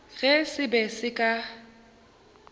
ge se be se ka